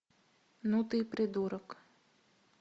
ну ты и придурок